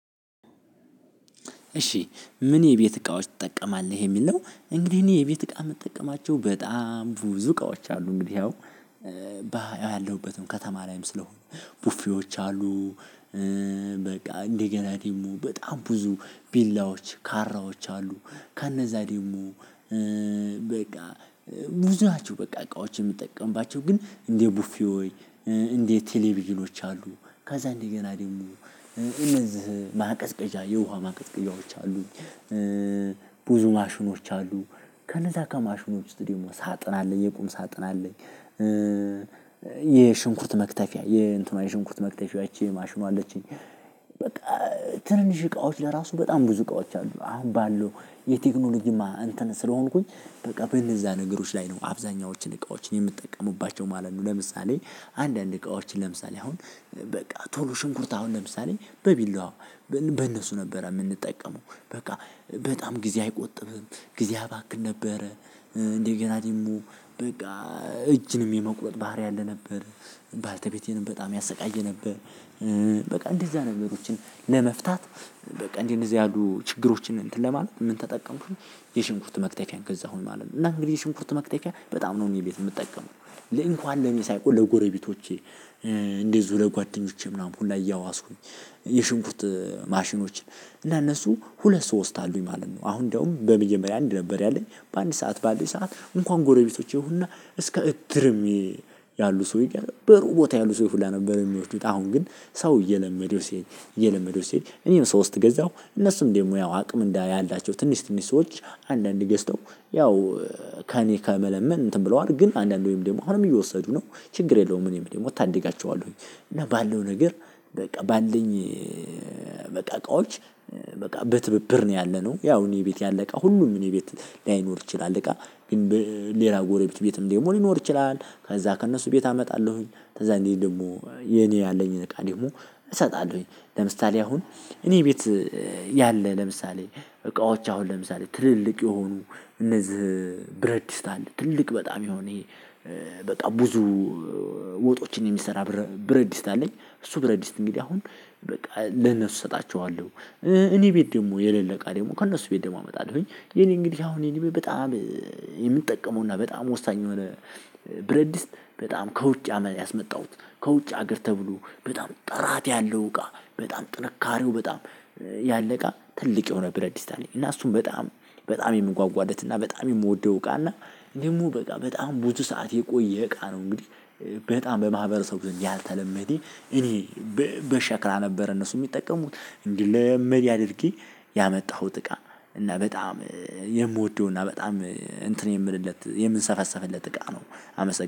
እሺ ምን የቤት እቃዎች ትጠቀማለህ የሚል ነው? እንግዲህ እኔ የቤት እቃ የምጠቀማቸው በጣም ብዙ እቃዎች አሉ እንግዲህ ያው ያለሁበትም ከተማ ላይም ስለሆንኩ ቡፌዎች አሉ። እ በቃ እንደገና ደግሞ በጣም ብዙ ቢላዎች ካራዎች። አሉ ከነዛ ደግሞ በቃ ብዙ ናቸው በቃ እቃዎችን የምጠቀምባቸው ግን እንደ ቡፊሆች እንደ ቴሌቪዥኖች አሉ ከዛ እንደገና ደግሞ እነዚህ ማቀዝቀዣ የውሃ ማቀዝቀዣዎች አሉኝ። ማሽኖች አሉ ከነዛ ከማሽኖቹ ውስጥ ደግሞሳጥን አለኝ የቁም ሳጥን አለኝ እ የሽንኩርት መክተፊያ የእንትኗ የሽንኩርት መክተፊያ ይቺ ማሽኗ አለችኝ። በቃ ትንሽ እቃዎች ለራሱ በጣም ብዙ እቃዎች አሉ አሁን ባለው የቴክኖሎጂማ እንትን ስለሆንኩኝ በቃ በእነዛ ነገሮች ላይ ነው አብዛኛዎቹን እቃዎችን የምጠቀምባቸው ማለት ነው። ለምሳሌ አንዳንድ እቃዎችን ለምሳሌ አሁን በቃ ቶሎ ሽንኩርት አሁን ለምሳሌ በቢላዋ በእነሱ ነበር የምንጠቀመው በቃ በጣም ጊዜ አይቆጥብም ጊዜ አባክን ነበረ። እንዴ ገና ደግሞ በቃ እጅንም የመቁረጥ ባህሪ አለ ነበር ባለተቤቴንም በጣም ያሰቃየ ነበር። በቃ እንደዛ ነገሮችን ለመፍታት በቃ እንደዚህ ያሉ ችግሮችን እንትን ለማለት ምን ተጠቀምኩ የሽንኩርት መክተፊያ ገዛሁኝ ማለት ነው። እና እንግዲህ የሽንኩርት መክተፊያ በጣም ነው እኔ ቤት የምጠቀመው ለእንኳን ለኔ ሳይሆን ለጎረቤቶቼ እንደዚሁ ለጓደኞቼ ምናምን ሁላ እያዋስኩኝ የሽንኩት ማሽኖችን እና እነሱ ሁለት ሶስት አሉኝ ማለት ነው። አሁን ደግሞ በመጀመሪያ አንድ ነበር ያለኝ በአንድ ሰዓት ባለኝ ሰዓት እንኳን ጎረቤቶች ይሁንና እስከ እድርም ያሉ ሰው በሩቅ ቦታ ያሉ ሰዎች ላይ ነበር የሚወስዱት። አሁን ግን ሰው እየለመደው ሲሄድ እየለመደው ሲሄድ እኔም ሰው ስትገዛው እነሱም ደግሞ ያው አቅም እንዳያላቸው ትንሽ ትንሽ ሰዎች አንዳንዴ ገዝተው ያው ከእኔ ከመለመን እንትን ብለው አድርግ ግን አንዳንዴ ወይም ደግሞ አሁንም እየወሰዱ ነው ችግር የለውም እኔም ደግሞ እታደጋቸዋለሁኝ። እና ባለው ነገር በቃ ባለኝ በቃ እቃዎች በቃ በትብብር ነው ያለነው። ያው እኔ ቤት ያለ እቃ ሁሉም እኔ ቤት ላይኖር ይችላል እቃ ግን ሌላ ጎረቤት ቤትም ደግሞ ሊኖር ይችላል ከዛ ከእነሱ ቤት አመጣለሁኝ። ከዛ እንዲህ ደግሞ የኔ ያለኝን እቃ ደግሞ እሰጣለሁኝ። ለምሳሌ አሁን እኔ ቤት ያለ ለምሳሌ እቃዎች አሁን ለምሳሌ ትልልቅ የሆኑ እነዚህ ብረትድስት አለ ትልቅ በጣም የሆነ ይሄ በጣም ብዙ ወጦችን የሚሰራ ብረትድስት አለኝ። እሱ ብረትድስት እንግዲህ አሁን በቃ ለነሱ እሰጣቸዋለሁ። እኔ ቤት ደግሞ የሌለ እቃ ደግሞ ከእነሱ ቤት ደግሞ አመጣለሁኝ። የኔ እንግዲህ አሁን የኔ በጣም የምጠቀመውና በጣም ወሳኝ የሆነ ብረትድስት በጣም ከውጭ አመን ያስመጣሁት ከውጭ ሀገር ተብሎ በጣም ጥራት ያለው እቃ በጣም ጥንካሬው በጣም ያለቃ ትልቅ የሆነ ብረትድስት አለኝ። እና እሱን በጣም በጣም የምጓጓለት እና በጣም የምወደው እቃና ደግሞ በቃ በጣም ብዙ ሰዓት የቆየ እቃ ነው እንግዲህ። በጣም በማህበረሰቡ ብዙም ያልተለመደ እኔ በሸክላ ነበር እነሱ የሚጠቀሙት እንዲህ ለመን አድርጌ ያመጣሁት እቃ እና በጣም የምወደው እና በጣም እንትን የምልለት የምንሰፈሰፍለት እቃ ነው። አመሰግናለሁ